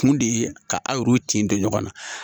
Kun de ye ka aw yɛrɛ tin don ɲɔgɔn na.